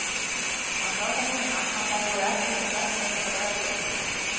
Hann sá það núna að þær voru ekki sem verstar þessar brækur.